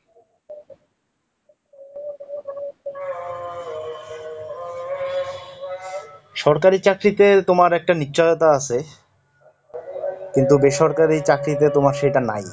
সরকারি চাকরিতে তোমার একটা নিশ্চয়তা আছে, কিন্তু বেসরকারি চাকরিতে তোমার সেটা নাই।